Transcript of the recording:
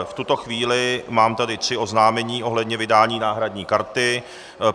V tuto chvíli mám tady tři oznámení ohledně vydání náhradní karty.